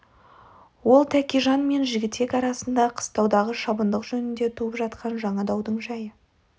ол тәкежан мен жігітек арасында қыстаудағы шабындық жөнінде туып жатқан жаңа даудың жайы